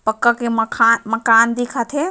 पक्का के मखा माकन दिखत हे।